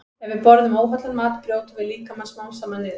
Ef við borðum óhollan mat brjótum við líkamann smám saman niður.